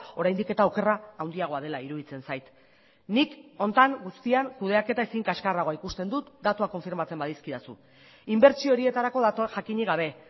oraindik eta okerra handiagoa dela iruditzen zait nik honetan guztian kudeaketa ezin kaxkarragoa ikusten dut datuak konfirmatzen badizkidazu inbertsio horietarako dator jakinik gabe